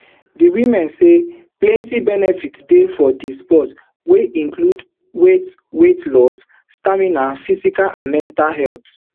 di women say plenti benefits dey for di sport wey include weight weight loss stamina physical and mental health